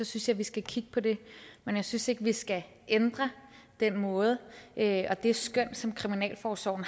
synes jeg vi skal kigge på det men jeg synes ikke vi skal ændre den måde og det skøn som kriminalforsorgen